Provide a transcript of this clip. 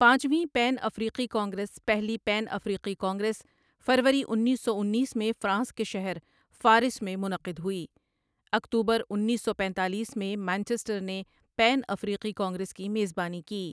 پانچویں پین افریقی کانگریس پہلی پین افریقی کانگریس فروری انیس سو انیس میں فرانس کے شہر فارس میں منعقد ہوئی اکتوبر اُنیسو پینتالیس میں مانچسٹر نے پین افریقی کانگریس کی میزبانی کی